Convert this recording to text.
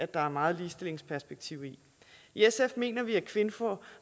der er meget ligestillingsperspektiv i i sf mener vi at kvinfo